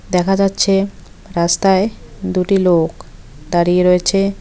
দেখা যাচ্ছে রাস্তায় দুটি লোক দাঁড়িয়ে রয়েছে।